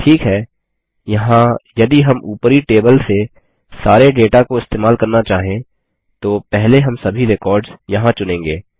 ठीक है यहाँ यदि हम ऊपरी टेबल से सारे डेटा को इस्तेमाल करना चाहें तो पहले हम सभी रेकॉर्ड्स यहाँ चुनेंगे